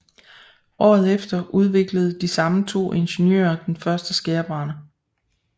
Året efter udviklede de samme to ingeniører den første skærebrænder